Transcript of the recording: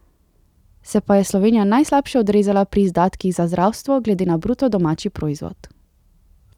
Se pa je Slovenija najslabše odrezala pri izdatkih za zdravstvo glede na bruto domači proizvod.